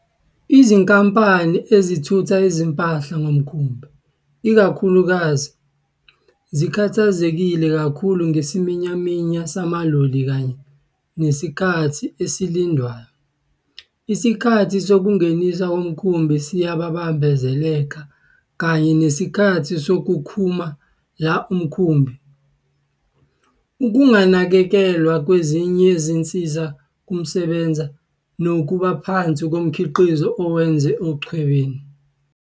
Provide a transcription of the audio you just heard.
Izinkampani ezithutha izimpahla ngomkhumbi, ikakhulukazi, zikhathazekile kakhulu ngesiminyaminya samaloli kanye nesikhathi esilindwayo, isikhathi sokungeniswa komkhumbi siyabambezeleka kanye nesikhathi sokukhumu la umkhumbi, ukunganakekelwa kwezinsizakusebenza nokubaphansi komkhiqizo owenziwa echwebeni.